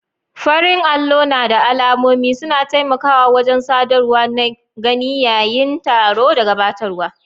farin allo na da alamomi suna taimakawa wajen sadarwa na gani yayin taro da gabatarwa.